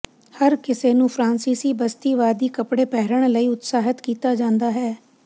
ਹਰ ਕਿਸੇ ਨੂੰ ਫ੍ਰਾਂਸੀਸੀ ਬਸਤੀਵਾਦੀ ਕੱਪੜੇ ਪਹਿਨਣ ਲਈ ਉਤਸ਼ਾਹਤ ਕੀਤਾ ਜਾਂਦਾ ਹੈ